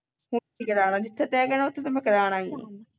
ਹੁਣ ਹੋਰ ਕਿਥੇ ਕਰਵਾਉਣਾ ਜਿੱਥੇ ਤੇਐ ਕਹਿਣਾ ਉੱਥੇ ਤੇ ਮੈਂ ਕਰਵਾਉਣਾ ਹੀ ਨਹੀਂ